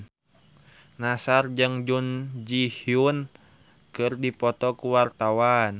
Nassar jeung Jun Ji Hyun keur dipoto ku wartawan